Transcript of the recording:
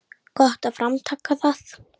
Gott framtak það.